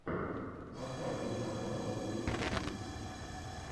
поставь гитар батл ютьюб